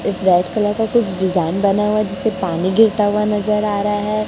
एक red colour का कुछ डिजाइन बना हुआ जिसमें पानी गिरता हुआ नजर आ रहा है।